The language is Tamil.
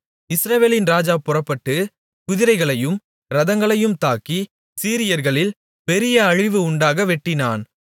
இஸ்ரவேலின் ராஜா புறப்பட்டு குதிரைகளையும் இரதங்களையும் தாக்கி சீரியர்களில் பெரிய அழிவு உண்டாக வெட்டினான்